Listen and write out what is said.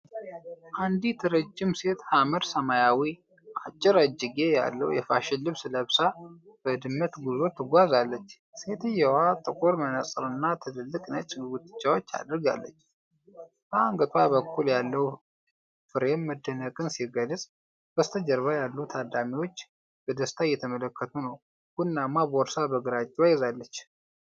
አንዲት ረጅም ሴት ሐመር ሰማያዊ፣ አጭር እጅጌ ያለው የፋሽን ልብስ ለብሳ በ "ድመትጉዞ" ትጓዛለች። ሴትየዋ ጥቁር መነጽርና ትልልቅ ነጭ ጉትቻዎች አድርጋለች። በአንገቷ በኩል ያለው ፍሬም መደነቅን ሲገልጽ፣ በስተጀርባ ያሉት ታዳሚዎች በደስታ እየተመለከቱ ነው። ቡኒማ ቦርሳ በግራ እጇ ይዛለች።